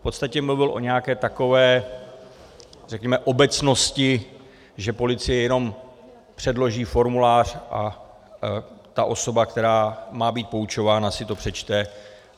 V podstatě mluvil o nějaké takové, řekněme, obecnosti, že policie jenom předloží formulář a ta osoba, která má být poučována, si to přečte.